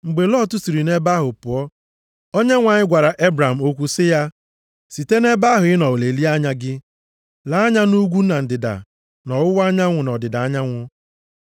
Mgbe Lọt siri nʼebe ahụ pụọ, Onyenwe anyị gwara Ebram okwu sị ya, “Site nʼebe ahụ ị nọ lelie anya gị, lee anya nʼugwu na ndịda, nʼọwụwa anyanwụ na ọdịda anyanwụ.